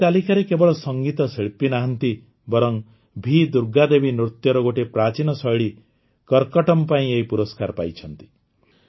ଏହି ତାଲିକାରେ କେବଳ ସଙ୍ଗୀତ ଶିଳ୍ପୀ ନାହାନ୍ତି ବରଂ ଭି ଦୁର୍ଗା ଦେବୀ ନୃତ୍ୟର ଗୋଟିଏ ପ୍ରାଚୀନ ଶୈଳୀ କରକଟ୍ଟମ୍ ପାଇଁ ଏହି ପୁରସ୍କାର ପାଇଛନ୍ତି